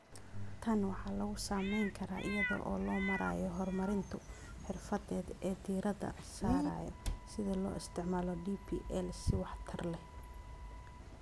Tan waxaa lagu samayn karaa iyada oo loo marayo horumarinta xirfadeed ee diiradda saaraya sida loo isticmaalo DPL si waxtar leh.